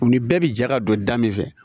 U ni bɛɛ bi jɛ ka don da min fɛ